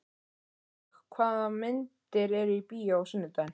Árlaug, hvaða myndir eru í bíó á sunnudaginn?